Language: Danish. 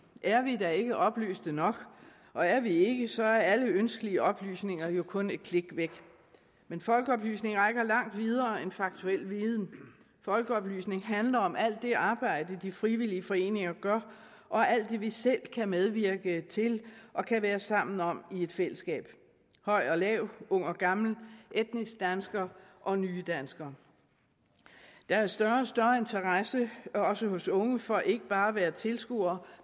er vi da ikke oplyste nok og er vi ikke så er alle ønskelige oplysninger jo kun et klik væk men folkeoplysning rækker langt videre end faktuel viden folkeoplysning handler om alt det arbejde de frivillige foreninger gør og alt det vi selv kan medvirke til og kan være sammen om i et fællesskab høj og lav ung og gammel etniske danskere og nye danskere der er større og større interesse også hos unge for ikke bare at være tilskuer